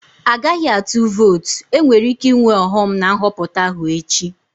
Agaghị atụ votu, enwere ike ịnwe ọghọm na Nhọpụta ahụ echi